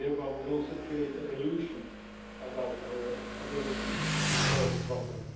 we also create thereby illusions about our ability to solve the problem.